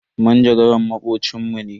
Manjagaran makocin mu ne.